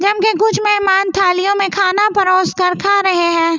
जम के कुछ मेहमान थालियों में खाना परोस कर खा रहे है।